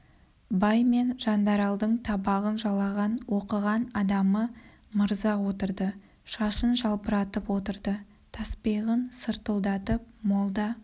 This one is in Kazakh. бай мен жандаралдың табағын жалаған оқыған адамы мырза отырды шашын жалбыратып отырды таспиғын сыртылдатып молда